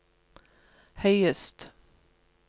høyest